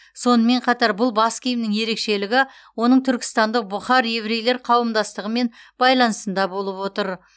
сонымен қатар бұл бас киімнің ерекшелігі оның түркістандық бұхар еврейлер қауымдастығымен байланысында болып отыр